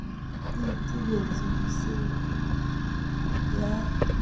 e itebetse ho se ya